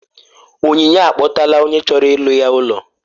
Onyinye akpọtala onye chọrọ ịlụ ya ụlọ